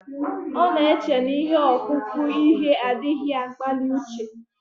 Ọ na-eche na ihe ọkpụkpụ ihe adịghị akpali uche